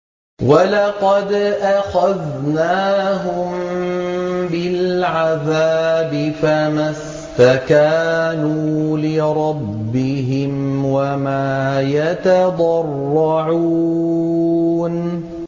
وَلَقَدْ أَخَذْنَاهُم بِالْعَذَابِ فَمَا اسْتَكَانُوا لِرَبِّهِمْ وَمَا يَتَضَرَّعُونَ